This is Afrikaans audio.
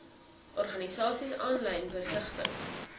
organisasies aanlyn besigtig